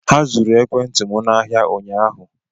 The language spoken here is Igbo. Ha zuru ekwentị m n'ahịa ụnyaahụ